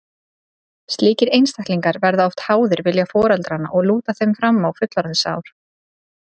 Slíkir einstaklingar verða oft háðir vilja foreldranna og lúta þeim fram á fullorðinsár.